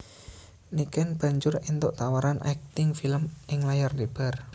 Niken banjur éntuk tawaran akting film ing layar lebar